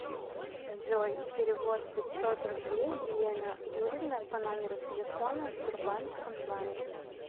джой перевод пятьсот рублей елена юрьевна по номеру телефона сбербанк онлайн